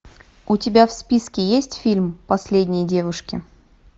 у тебя в списке есть фильм последние девушки